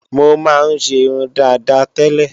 Mọ máa ń ṣe irun dàda tẹ́lẹ̀